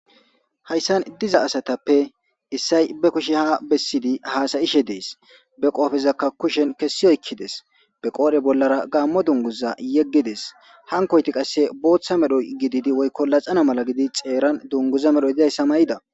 Hayisan diza asatappe issay be kushe ha bessidi haasayishe dees be qodhzakka kushen kessi oykkides be qoodhe bollara gaammo dunguza yeggides hankoyti qasse booththa medhoy gididi woykko laxana mala gidi xeeran dunguza medhoy dizayssa mayida